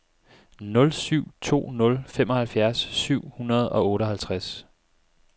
nul syv to nul femoghalvfjerds syv hundrede og otteoghalvtreds